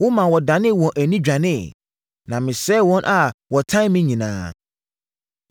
Womaa wɔdanee wɔn ani dwaneeɛ, na mesɛe wɔn a wɔtan me nyinaa.